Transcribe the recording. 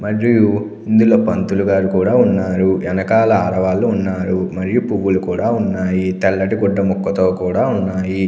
మరియు ఇందులో పంతులుగారు కూడా ఉన్నారు. ఎనకాల ఆడవాళ్ళు ఉన్నారు. మరియు పువ్వులు కూడా ఉన్నాయి. తెల్లటి గుడ్డ ముక్కతో కూడా ఉన్నాయి.